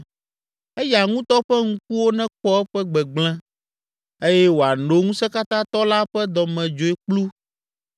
Eya ŋutɔ ƒe ŋkuwo nekpɔ eƒe gbegblẽ, eye wòano Ŋusẽkatãtɔ la ƒe dɔmedzoekplu